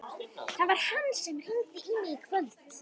Það var hann sem hringdi í mig í kvöld.